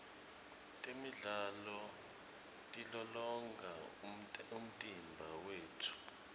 temidlalo tilolonga umtimba wetfu